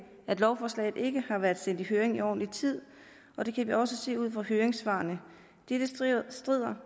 at lovforslaget ikke har været sendt i høring i ordentlig tid og det kan vi også se ud af høringssvarene dette strider